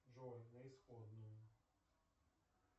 джой на исходную